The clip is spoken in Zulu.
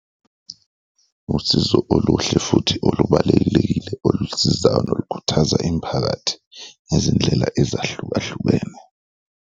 Usizo oluhle futhi olubalulekile olusizayo nolukhuthaza imphakathi ngezindlela ezahlukahlukene.